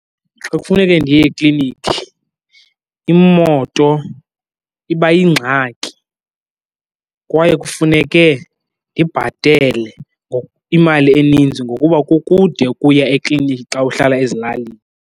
Xa kufuneke ndiye ekliniki imoto iba yingxaki kwaye kufuneke ndibhatele imali eninzi ngokuba kukude ukuya ekliniki xa uhlala ezilalini.